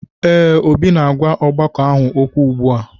Ee, Obi na-agwa ọgbakọ ahụ okwu ugbu a